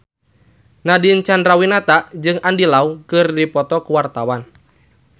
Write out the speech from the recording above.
Nadine Chandrawinata jeung Andy Lau keur dipoto ku wartawan